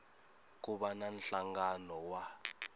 ku va na nhlangano wa